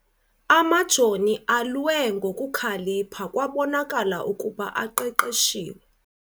Amajoni alwe ngokukhalipha kwabonakala ukuba aqeqeshiwe.